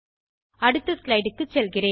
அடுத்த slideக்கு செல்கிறேன்